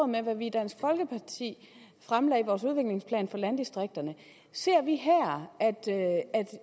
med hvad vi i dansk folkeparti fremlagde i vores udviklingsplan for landdistrikterne ser vi her at